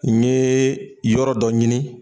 N yee yɔrɔ dɔ ɲini